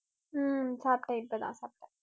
ஹம் சாப்பிட்டேன் இப்பதான் சாப்பிட்டேன்